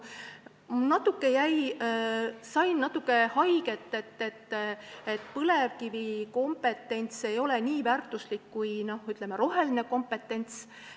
Natuke tegi haiget väide, et põlevkivikompetents ei ole nii väärtuslik kui, ütleme, roheline kompetents.